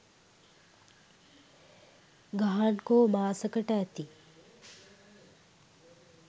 ගහන්කෝ මාසකට ඇති.